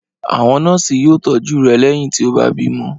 Àwọn nọ́ọ́sì yóò tọ́jú rẹ lẹ́yìn tí ó bá bímọ.